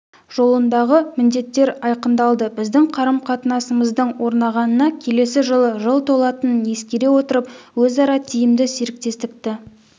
жолындағы міндеттер айқындалды біздің қарым-қатынасымыздың орнағанына келесі жылы жыл толатынын ескере отырып өзара тиімді серіктестікті